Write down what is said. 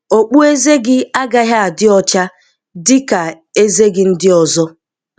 Okpueze gị agaghị adị ọcha dị ka ezé gị ndị ọzọ.